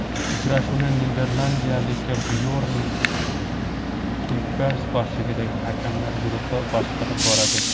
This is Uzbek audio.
Uchrashuvni niderlandiyalik Byorn Kuypers boshchiligidagi hakamlar guruhi boshqarib boradi.